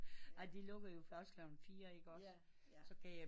De lukkede da først klokken fire ikke også